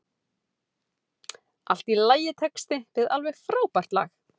Allt í lagitexti við alveg frábært lag.